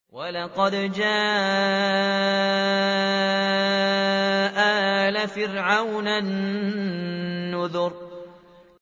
وَلَقَدْ جَاءَ آلَ فِرْعَوْنَ النُّذُرُ